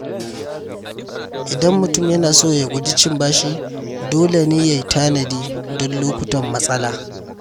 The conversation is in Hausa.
Idan mutum yana so ya guji cin bashi, dole ne ya tanadi don lokutan matsala.